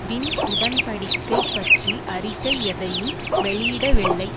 win உடன் படிக்கை பற்றி அறிக்கை எதையும் வெளியிடவில்லை